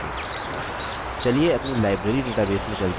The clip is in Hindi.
अपनी library database में चलते हैं